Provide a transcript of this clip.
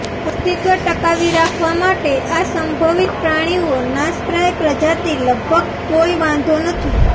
અસ્તિત્વ ટકાવી રાખવા માટે આ સંભવિત પ્રાણીઓ નાશપ્રાય પ્રજાતિ લગભગ કોઈ વાંધો નથી